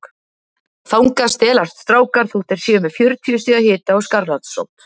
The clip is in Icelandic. Þangað stelast strákar þótt þeir séu með fjörutíu stiga hita og skarlatssótt.